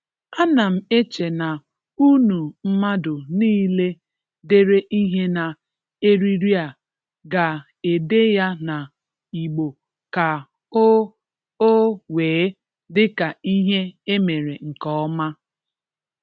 anam eche na unu Mmadụ Nile dere ihe na eriri a GA ede ya na igbo ka o o wee dị ka ihe e mere nke ọma?